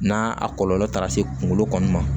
N'a a kɔlɔlɔ taara se kunkolo kɔni ma